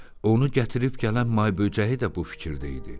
Onu gətirib gələn may böcəyi də bu fikirdə idi.